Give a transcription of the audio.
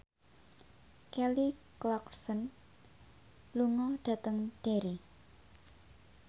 Kelly Clarkson lunga dhateng Derry